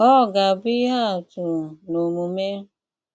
Ọ́ gà-àbụ́ íhé àtụ́ n’ómùmé.